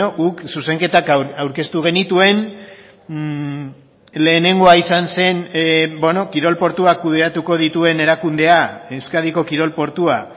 guk zuzenketak aurkeztu genituen lehenengoa izan zen kirol portuak kudeatuko dituen erakundea euskadiko kirol portua